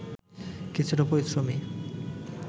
কিছুটা পরিশ্রমী